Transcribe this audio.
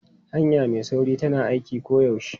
Hanya mai sauri tana aiki koyaushe.